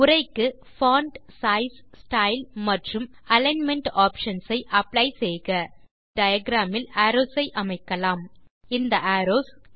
உரைக்கு font size style மற்றும் alignment options ஐ அப்ளை செய்க இப்போது டயாகிராம் இல் அரோவ்ஸ் ஐ அமைக்கலாம் இந்த அரோவ்ஸ்